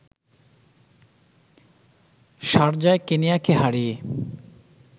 শারজায় কেনিয়াকে হারিয়ে